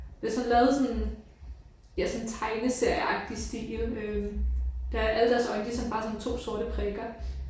Det er sådan lavet sådan ja sådan tegneserieagtig stil øh der er alle deres øjne de er sådan bare sådan to sorte prikker